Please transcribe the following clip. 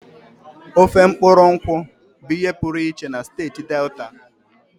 Ofe mkpuru nkwu bụ ihe pụrụ iche na steeti Delta.